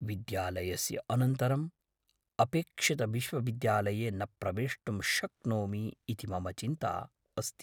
विद्यालयस्य अनन्तरम् अपेक्षितविश्वविद्यालये न प्रवेष्टुं शक्नोमि इति मम चिन्ता अस्ति।